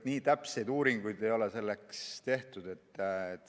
Nii täpseid uuringuid ei ole selle kohta tehtud.